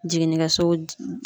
Jiginnikɛso